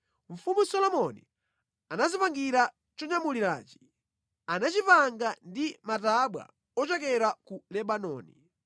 Mfumu Solomoni anadzipangira chonyamulirachi; anachipanga ndi matabwa ochokera ku Lebanoni.